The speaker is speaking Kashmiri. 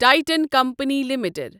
Titan company limited